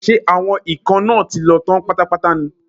Ṣé àwọn ikán náà ti lọ tán pátápátá ní?